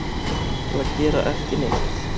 til að gera ekki neitt